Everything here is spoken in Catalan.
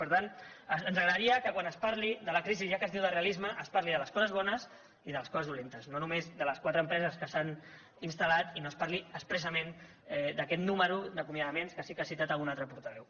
per tant ens agradaria que quan es parlés de la crisi ja que es diu del realisme es parli de les coses bones i de les coses dolentes no només de les quatre empreses que s’han instal·lat i no es parli expressament d’aquest nombre d’acomiadaments que sí que ha citat algun altre portaveu